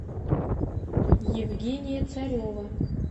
евгения царева